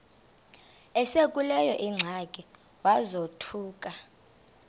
esekuleyo ingxaki wazothuka